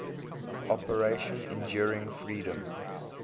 operation enduring freedom